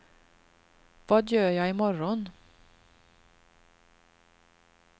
vad gör jag imorgon